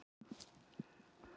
Hann var á einn veg.